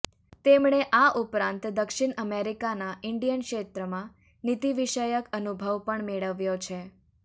તેમણે આ ઉપરાંત દક્ષિણ અમેરિકાના ઈન્ડિયન ક્ષેત્રમાં નીતિવિષયક અનુભવ પણ મેળવ્યો છે